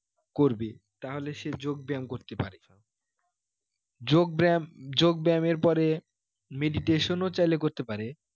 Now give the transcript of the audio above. করবে তাহলে সে যোগ ব্যাম করতে পারে যোগ ব্যাম, যোগ ব্যামের পরে meditation ও চাইলে করতে পারে